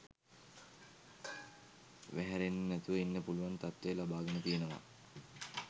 වහැරෙන්නෙ නැතුව ඉන්න පුළුවන් තත්ත්වය ලබාගෙන තියෙනවා